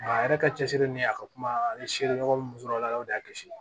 A yɛrɛ ka cɛsiri ni a ka kuma ye seere ɲɔgɔn sɔrɔ a la o de y'a kisi